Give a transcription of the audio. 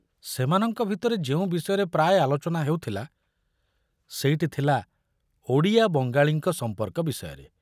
ସେମାନଙ୍କ ଭିତରେ ଯେଉଁ ବିଷୟରେ ପ୍ରାୟ ଆଲୋଚନା ହେଉଥିଲା ସେଇଟି ଥିଲା ଓଡ଼ିଆ ବଙ୍ଗାଳୀଙ୍କ ସମ୍ପର୍କ ବିଷୟରେ।